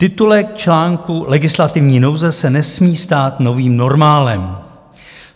Titulek článku Legislativní nouze se nesmí stát novým normálem.